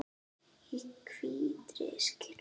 Í hvítri skyrtu.